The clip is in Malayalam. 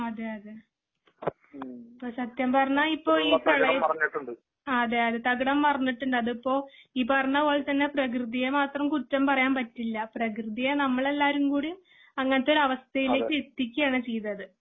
അതേ അതേ അപ്പോ സത്യം പറഞ്ഞാ ഇപ്പോ ഈ പ്രളയ ആ അതേ അതേ തകിടം മറിഞ്ഞിട്ടുണ്ട് അതിപ്പോ ഈ പറഞ്ഞ പോലെതന്നെ പ്രകൃതിയെ മാത്രം കുറ്റം പറയാൻ പറ്റില്ല. പ്രകൃതിയെ നമ്മൾ എല്ലാരും കൂടി അങ്ങനത്തെ ഒരു അവസ്ഥയിലേക്ക് എത്തിക്കുകയാണ് ചെയ്തത്.